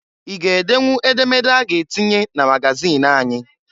I ga edenwu edemede a ga-atinye na magazịn anyị?